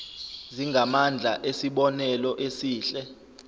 zingamandla esibonelo esihle